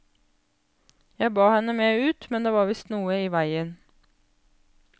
Jeg bad henne med ut, men det var visst noe i veien.